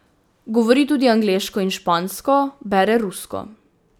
Govori tudi angleško in špansko, bere rusko.